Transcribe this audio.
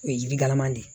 O ye jiri galaman de ye